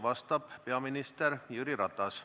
Vastab peaminister Jüri Ratas.